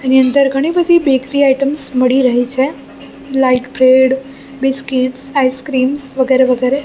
એની અંદર ઘણી બધી બેકરી આઇટમ્સ મડી રહી છે લાઈક બ્રેડ બિસ્કિટ્સ આઈસ્ક્રીમ્સ વગેરે વગેરે.